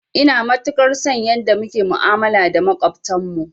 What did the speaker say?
Ina matukar son yanda muke ma'amala da maƙwabtan mu